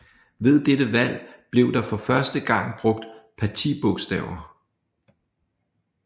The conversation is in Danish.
Ved dette valg blev der for første gang brugt partibogstaver